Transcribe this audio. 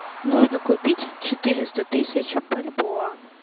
нужно купить четыреста тысяч бальбоа